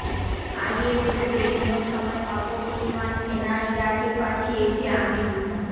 is রোধে কোন সময় কত পরিমাণ সেনা ইরাকে পাঠিয়েছে আমেরিকা